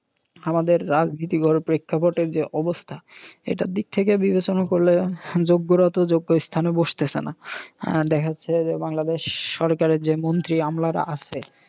আমাদের রাজনীতিকর প্রেক্ষাপটের যে অবস্থা এটার দিক থেকে বিবেচনা করলে যোগ্যরা তো যোগ্য স্থানে বসতেছে না। দেখা যাচ্ছে বাংলাদেশ সরকারের যে মন্ত্রী আমলারা আছে